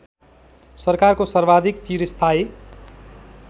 सरकारको सर्वाधिक चिरस्थायी